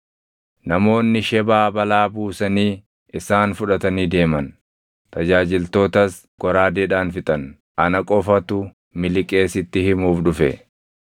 namoonni Shebaa balaa buusanii isaan fudhatanii deeman. Tajaajiltootas goraadeedhaan fixan; ana qofatu miliqee sitti himuuf dhufe!”